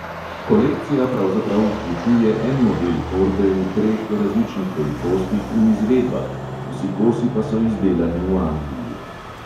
Kolekcija pravzaprav vključuje en model torbe v treh različnih velikostih in izvedbah, vsi kosi pa so izdelani v angliji.